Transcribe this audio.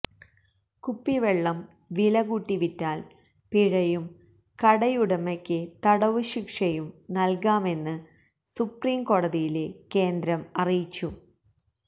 കുപ്പിവെള്ളം വിലകൂട്ടി വിറ്റാല് പിഴയും കടയുടമയ്ക്ക് തടവുശിക്ഷയും നല്കാമെന്ന് സുപ്രീംകോടതിയില് കേന്ദ്രം അറിയിച്ചു